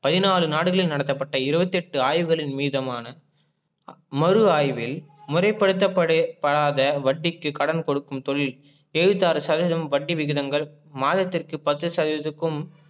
பதினாலு நாடுகளில் நடத்தப்பட்ட இருபத்தி எட்டு ஆய்வுகளின் மீதமான மறு ஆய்வில் முறைபடுத்த படாத வட்டிக்கு கடன்கொடுக்கும் தொழில் ஏழுவத்தி ஆறு சதவிதம் வட்டி விகிதங்கள் மாதத்திற்கு பத்து சதவிதத்துக்கும்